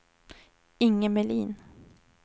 Inge Melin